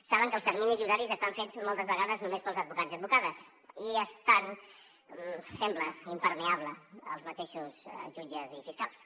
saben que els terminis i horaris estan fets moltes vegades només per als advocats i advocades i són sembla impermeables als mateixos jutges i fiscals